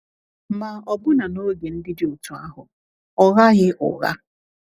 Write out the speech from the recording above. Ma, ọbụna n’oge ndị dị otú ahụ, ọ ghaghị ụgha.